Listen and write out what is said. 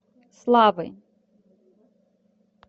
славы